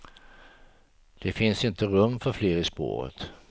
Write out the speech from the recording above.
Det finns inte rum för fler i spåret.